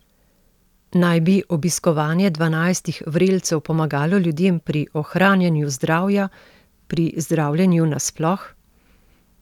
Naj bi obiskovanje dvanajstih vrelcev pomagalo ljudem pri ohranjanju zdravja, pri zdravljenju nasploh?